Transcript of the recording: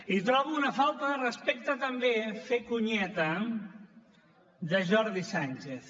i trobo una falta de respecte també fer conyeta de jordi sànchez